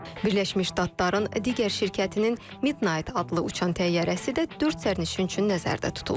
Birləşmiş Ştatların digər şirkətinin Midnight adlı uçan təyyarəsi də dörd sərnişin üçün nəzərdə tutulub.